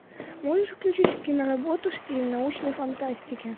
можешь включить киноработу в стиле научной фантастики